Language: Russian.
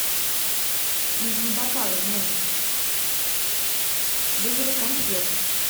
нужны бокалы в номер вызови консьержа